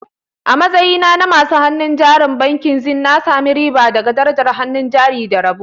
A matsayina na masu hannun jarin bankin Zenith, na sami riba daga darajar hannun jari da rabo.